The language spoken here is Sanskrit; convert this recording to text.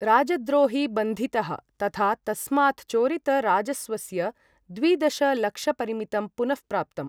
राजद्रोही बन्धितः तथा तस्मात् चोरितराजस्वस्य द्वि दशलक्षपरिमितं पुनःप्राप्तम्।